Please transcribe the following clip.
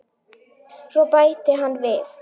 Svo bætti hann við